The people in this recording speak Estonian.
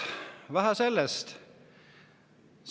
Vähe sellest!